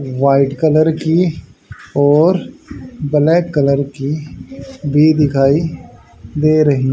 white colour की और black colour की भी दिखाई दे रही--